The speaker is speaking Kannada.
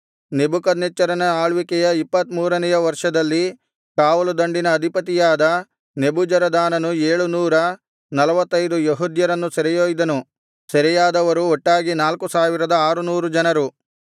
ನೆಬೂಕದ್ನೆಚ್ಚರನ ಆಳ್ವಿಕೆಯ ಇಪ್ಪತ್ತ ಮೂರನೆಯ ವರ್ಷದಲ್ಲಿ ಕಾವಲುದಂಡಿನ ಅಧಿಪತಿಯಾದ ನೆಬೂಜರದಾನನು ಏಳು ನೂರ ನಲ್ವತ್ತೈದು ಯೆಹೂದ್ಯರನ್ನು ಸೆರೆಯೊಯ್ದನು ಸೆರೆಯಾದವರು ಒಟ್ಟಾಗಿ ನಾಲ್ಕು ಸಾವಿರದ ಆರುನೂರು ಜನ